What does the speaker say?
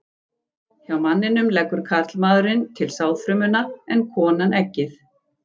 Hjá manninum leggur karlmaðurinn til sáðfrumuna en konan eggið.